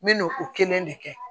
N me n'o kelen de kɛ